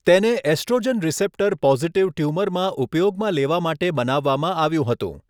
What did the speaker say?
તેને oestrogen receptor positive ટ્યુમરમાં ઉપયોગમાં લેવા માટે બનાવવામાં આવ્યું હતું.